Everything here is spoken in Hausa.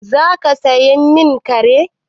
Za ka saya min kare?